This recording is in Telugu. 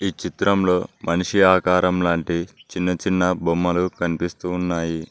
ఈ చిత్రంలో మనిషి ఆకారం లాంటి చిన్న చిన్న బొమ్మలు కనిపిస్తూ ఉన్నాయి.